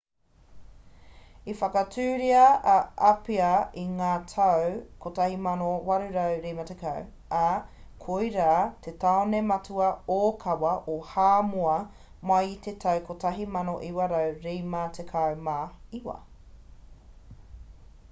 i whakatūria a apia i ngā tau 1850 ā koirā te tāone matua ōkawa o hāmoa mai i te tau 1959